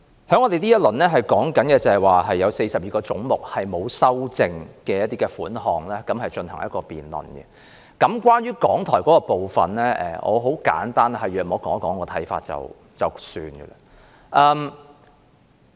在這個環節，我們就42個沒有修正案的總目款項進行辯論，我想就香港電台的部分簡單說一說我的看法。